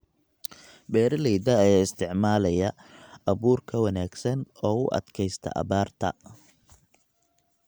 Beeralayda ayaa isticmaalaya abuur ka wanaagsan oo u adkaysta abaarta.